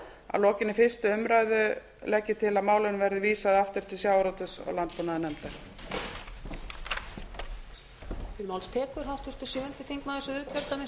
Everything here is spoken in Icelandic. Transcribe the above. að lokinni fyrstu umræðu legg ég til að málinu verði vísað aftur til sjávarútvegs og landbúnaðarnefndar